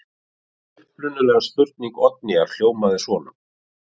Upprunaleg spurning Oddnýjar hljómaði svona: